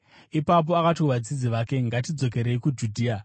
Ipapo akati kuvadzidzi vake, “Ngatidzokerei kuJudhea.”